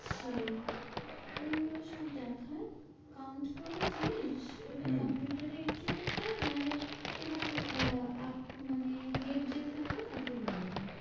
সেই এইগুলো সব দেখা count করার জিনিস এটা কম্পিউটার এ entry করতে হবে। নাহলে তোমার আহ আপ মানে head যে থাকবে না তাকে বলে দেওয়া।